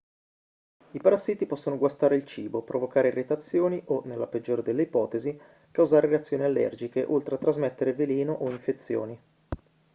i parassiti possono guastare il cibo provocare irritazioni o nella peggiore delle ipotesi causare reazioni allergiche oltre a trasmettere veleno o infezioni